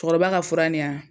Cɛkɔrɔba ka fura nin